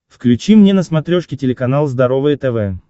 включи мне на смотрешке телеканал здоровое тв